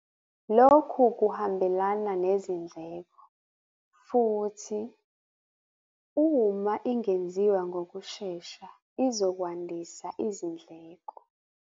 Lokhu kuhambelana nezindleko futhi - uma ingenziwa ngokushesha izokwandisa izindleko.